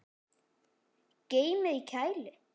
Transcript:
Geymið í kæli.